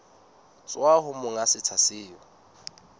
tswa ho monga setsha seo